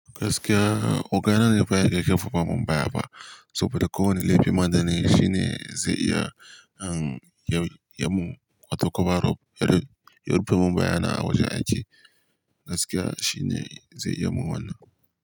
Gaskiya ogana ne baya yake karfafa mun baya ba saboda ko wane laifi madana yi shine zai iya han ya mu wata koba rob yari. Yarife mun baya na awajen aiki gaskiya shine zai iya mun wannan.